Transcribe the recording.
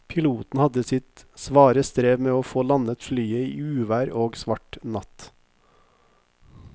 Piloten hadde sitt svare strev med å få landet flyet i uvær og svart natt.